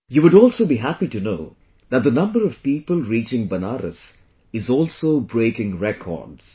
You would also be happy to know that the number of people reaching Banaras is also breaking records